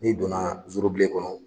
N'i don na zorobilen kɔnɔ